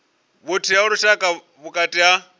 vhuthihi ha lushaka vhukati ha